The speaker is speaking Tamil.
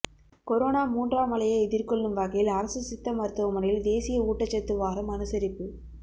கொரோனா மூன்றாம் அலையை எதிர்கொள்ளும் வகையில் அரசு சித்த மருத்துவமனையில் தேசிய ஊட்டச்சத்து வாரம் அனுசரிப்பு